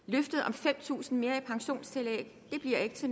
fem tusind kroner mere i pensionstillæg bliver ikke